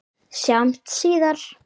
Sjáumst síðar!